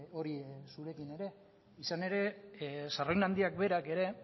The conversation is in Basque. hori zurekin ere izan ere handiak berak ere